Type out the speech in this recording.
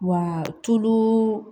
Wa tulu